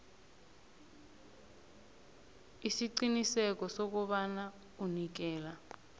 isiqiniseko sokobana unikela